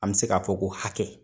An bɛ se ka fɔ ko hakɛ.